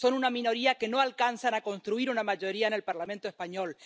Son una minoría que no alcanzan a construir una mayoría en el Parlamento español.